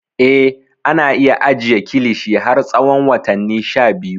Eh, ana iya ajiye kilishi har tsawon watanni sha biyu.